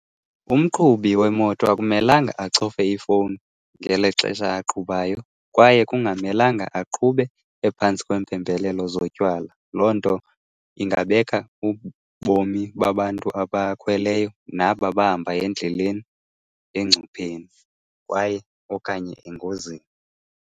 Umqhubi wemoto akumelanga acofe ifowuni ngeli xesha aqhubayo kwaye kungamelanga aqhube ephantsi kweempembelelo zotywala. Loo nto ingabeka ubomi babantu abakhweleyo naba bahamba endleleni engcupheni kwaye okanye engozini.